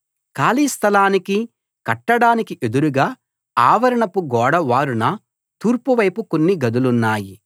ఖాళీ స్థలానికి కట్టడానికి ఎదురుగా ఆవరణపు గోడ వారున తూర్పువైపు కొన్ని గదులున్నాయి